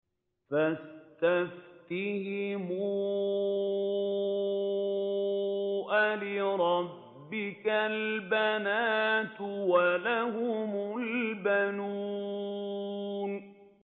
فَاسْتَفْتِهِمْ أَلِرَبِّكَ الْبَنَاتُ وَلَهُمُ الْبَنُونَ